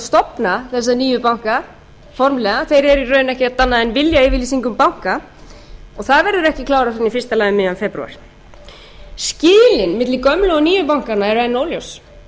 stofna þessa nýju banka formlega þeir eru í raun ekkert annað en viljayfirlýsing um banka og það verður ekki klárað fyrr en í fyrsta lagi um miðjan febrúar skilin milli gömlu og nýju bankanna eru enn óljós